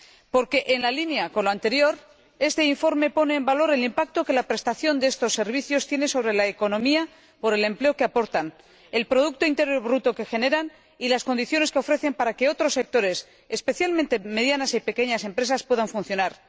Porque, en línea con lo anterior, este informe pone en valor el impacto que la prestación de estos servicios tiene sobre la economía por el empleo que aportan, el producto interior bruto que generan y las condiciones que ofrecen para que otros sectores, especialmente medianas y pequeñas empresas, puedan funcionar.